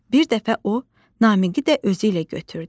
Bir dəfə o, Namiqi də özü ilə götürdü.